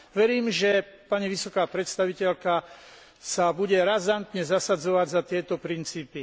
Verím, že pani vysoká predstaviteľka sa bude razantne zasadzovať za tieto princípy.